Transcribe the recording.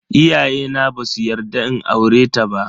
Iyayena basu yarda in aureta ba.